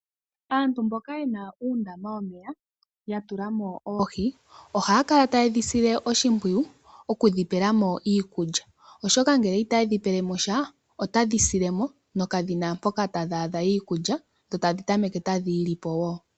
Aantu mboka yeni uundama womeya ya tula mo oohi ohaya kala taye dhi sile oshimpwiyu okudhipela mo iikulya oshoka uuna itaye dhi pe sha otadhi sile mo nenge dhi ta meke tadhi li oonkwawo.